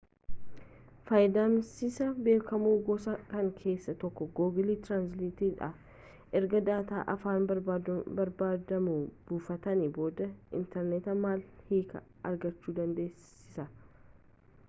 fayyadamsisaa beekamoo gosa kanaa keessa tokko google translate dha erga daataa afaan barbaadamuu buufatanii booda interneeta malee hiika argachuu dandeessisa